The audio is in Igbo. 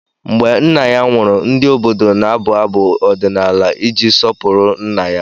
Mgbe nna ya nwụrụ, ndị obodo na-abụ abụ ọdịnala iji sọpụrụ nna ya.